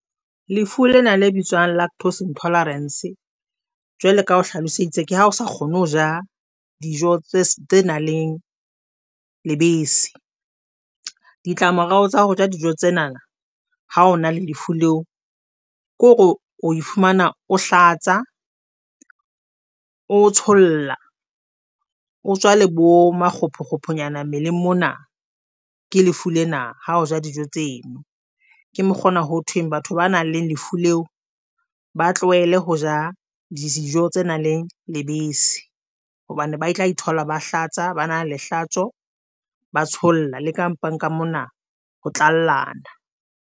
Lefu lena le bitswang la lactose intolerance jwale ka o hlaloseditse ke ha o sa kgone ho ja dijo tse nang le lebese ditlamorao tsa ho ja dijo tsena. Ha o na le lefu leo, ke hore o fumana o hlatsa, o tsholla, o tswa le bo makgopo kgopoyana mmeleng mona ke lefu lena ha o ja dijo tseno, ke mo kgona hothweng batho ba nang le lefu leo. Ba tlohele ho ja dijo tse nang le lebese hobane ba tla thola, ba hlatsa, ba na lehlatso, ba tsholla le ka mpeng ka mona ho tlallana.